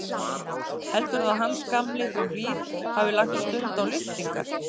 Heldurðu að Hans gamli frá Hlíð hafi lagt stund á lyftingar?